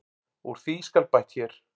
Úr því skal bætt hér.